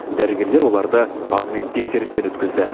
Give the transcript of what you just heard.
дәрігерлер оларды алдымен тексерістен өткізді